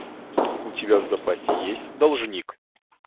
у тебя в запасе есть должник